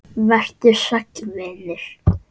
Vertu sæll vinur.